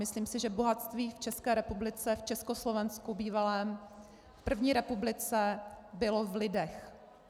Myslím si, že bohatství v České republice, v Československu bývalém, v první republice bylo v lidech.